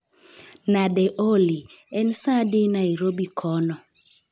Nade Olly? En saa adi Nairobi kono